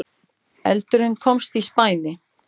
Eldurinn komst í spæni